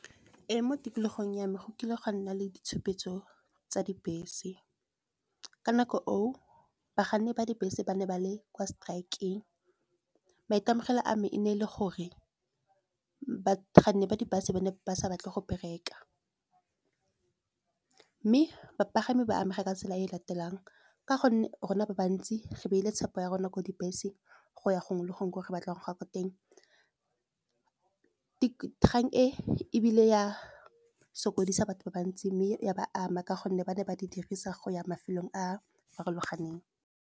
Ee, mo tikologong ya me go kile gwa nna le ditshupetso tsa dibese. Ka nako eo bakganni ba dibese ba ne ba le kwa strike-eng. Maitemogelo a me e ne e le gore bakganni ba di-bus ba ne ba sa batle go bereka, mme bapagami ba amega ka tsela e latelang, ka gonne rona ba bantsi ga ba ile tshepo ya rona ko dibeseng go ya gongwe le gongwe gore batlang ga ko teng. Kgang e ebile ya sokodisa batho ba bantsi mme ya ba ama ka gonne, ba ne ba di dirisa go ya mafelong a farologaneng.